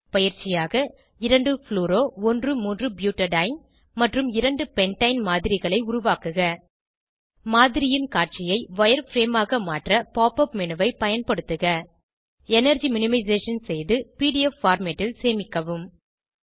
பயிற்சியாக 2 fluoro 13 butadiene மற்றும் 2 pentane மாதரிகளை உருவாக்குக மாதிரியின் காட்சியை வயர்ஃப்ரேம் ஆக மாற்ற pop உப் மேனு ஐ பயன்படுத்துக எனர்ஜி மினிமைசேஷன் செய்து படத்தை பிடிஎஃப் பார்மேட் ல் சேமிக்கவும்